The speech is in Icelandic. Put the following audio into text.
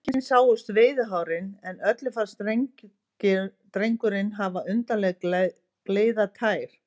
Engin sáust veiðihárin, en öllum fannst drengurinn hafa undarlega gleiðar tær.